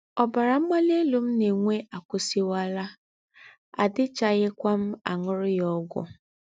Ọ́bárá mgbalì élú m nà-ènwé àkụ́wúsìwálà, àdì̀chààghíkwà m àṅùrù yá ógwù